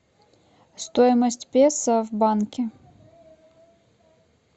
стоимость песо в банке